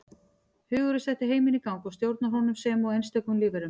Hugurinn setti heiminn í gang og stjórnar honum sem og einstökum lífverum.